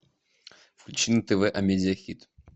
включи на тв амедиа хит